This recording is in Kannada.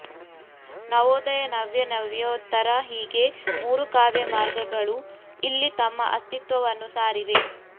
ನವೋದಯ ನವ್ಯ ನವ್ಯೋತ್ತರ ಹೀಗೆ ಮೂರು ಕಾವ್ಯ ಮಾರ್ಗಗಳು ಇಲ್ಲಿ ತಮ್ಮ ಅಸ್ತಿತ್ವವನ್ನು ಸಾರಿವೆ